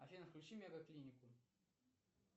афина включи мега клинику